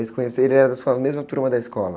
Vocês se conheceram e ele era da sua mesma turma da escola?